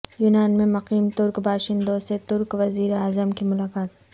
یونان میں مقیم ترک باشندوں سے ترک وزیر اعظم کی ملاقات